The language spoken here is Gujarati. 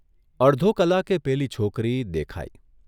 અડધો કલાકે પેલી છોકરી દેખાઇ.